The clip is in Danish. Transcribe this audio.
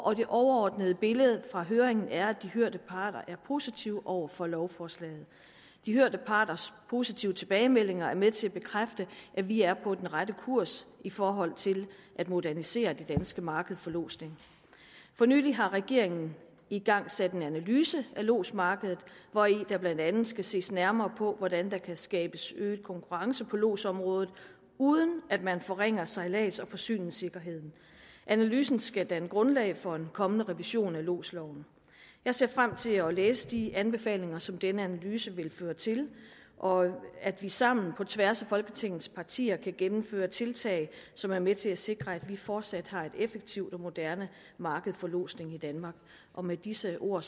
det overordnede billede fra høringen er at de hørte parter er positive over for lovforslaget de hørte parters positive tilbagemeldinger er med til at bekræfte at vi er på rette kurs i forhold til at modernisere det danske marked for lodsning for nylig har regeringen igangsat en analyse af lodsmarkedet hvori der blandt andet skal ses nærmere på hvordan der kan skabes øget konkurrence på lodsområdet uden at man forringer sejlads og forsyningssikkerheden analysen skal danne grundlag for en kommende revision af lodsloven jeg ser frem til at læse de anbefalinger som denne analyse vil føre til og at vi sammen på tværs af folketingets partier kan gennemføre tiltag som er med til at sikre at vi fortsat har et effektivt og moderne marked for lodsning i danmark med disse ord